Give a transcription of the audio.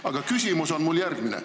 Aga küsimus on mul järgmine.